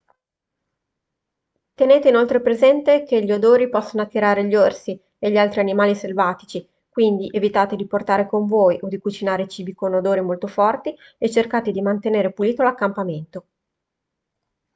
tenete inoltre presente che gli odori possono attirare gli orsi e gli altri animali selvatici quindi evitate di portare con voi o di cucinare cibi con odori molto forti e cercate di mantenere pulito l'accampamento